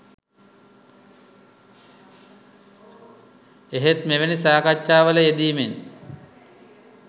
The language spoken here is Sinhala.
එහෙත් මෙවැනි සාකච්චා වල යෙදීමෙන්